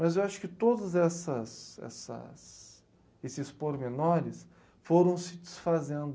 Mas eu acho que todas essas essas ... Esses pormenores foram se desfazendo.